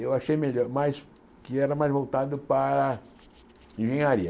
Eu achei melhor, mais que era mais voltado para engenharia.